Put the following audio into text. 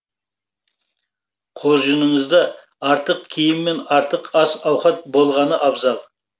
қоржыныңызда артық киім мен артық ас ауқат болғаны абзал